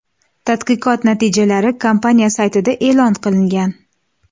Tadqiqot natijalari kompaniya saytida e’lon qilingan .